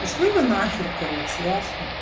пошли вы на хер короче ясно